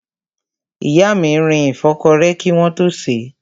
Ìyá mi rin ìfọ́kọrẹ́ kí wọ́n tó sèé.